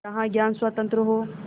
जहाँ ज्ञान स्वतन्त्र हो